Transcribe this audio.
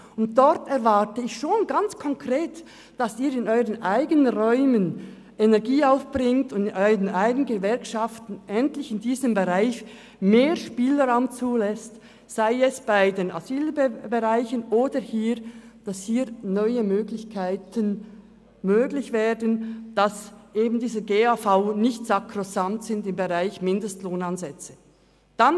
Dort erwarte ich ganz konkret, dass Sie in ihren eigenen Reihen die Energie aufbringen, und Ihren Gewerkschaften in diesem Bereich mehr Spielraum lassen, sei es im Asylbereich, oder dass neue Möglichkeiten geschaffen werden, und der GAV im Bereich der Mindestlohnansätze nicht sakrosankt ist.